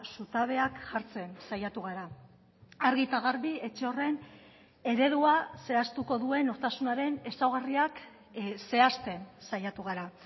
zutabeak jartzen saiatu gara argi eta garbi etxe horren eredua zehaztuko duen nortasunaren ezaugarriak zehazten saiatu gara